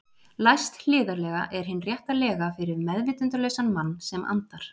Læst hliðarlega er hin rétta lega fyrir meðvitundarlausan mann sem andar.